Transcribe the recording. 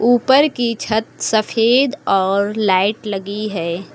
ऊपर की छत सफेद और लाइट लगी है।